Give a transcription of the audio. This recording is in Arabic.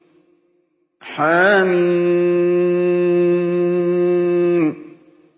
حم